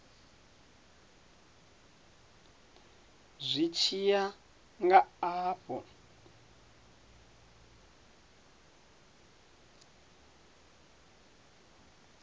zwi tshi ya nga afho